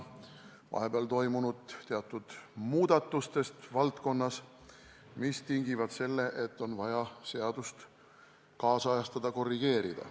Vahepeal on toimunud teatud muudatused valdkonnas, mis tingivad selle, et on vaja seadust kaasajastada, korrigeerida.